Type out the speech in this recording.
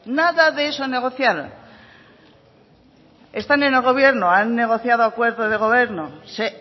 nada de eso negociaron están en el gobierno han negociado acuerdo de gobierno se